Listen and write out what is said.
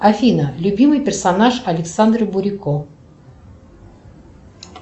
афина любимый персонаж александра бурико